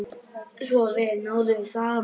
Svo vel náðum við saman.